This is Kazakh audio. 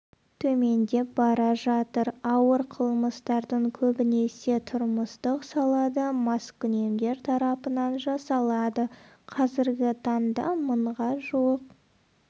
төмендеп бара жатыр ауыр қылмыстардың көбінесе тұрмыстық салада маскүнемдер тарапынан жасалады қазіргі таңда мыңға жуық